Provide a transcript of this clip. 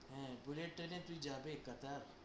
হ্যাঁ, bullet train এ তুই যাবে কাতার?